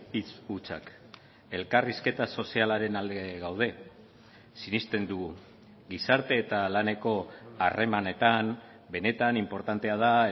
hitz hutsak elkarrizketa sozialaren alde gaude sinesten dugu gizarte eta laneko harremanetan benetan inportantea da